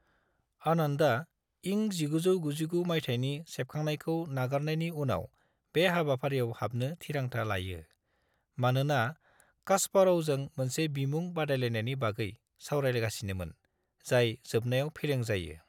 आनन्दआ इं 1999 माइथायनि सेबखांनायखौ नागारनायनि उनाव बे हाबाफारियाव हाबनो थिरांथा लायो, मानोना कास्पार'वजों मोनसे बिमुं बादायलायनायनि बागै सावरायगासिनोमोन, जाय जोबनायाव फेलें जायो।